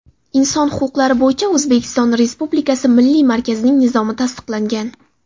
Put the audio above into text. Inson huquqlari bo‘yicha O‘zbekiston Respublikasi milliy markazining nizomi tasdiqlangan.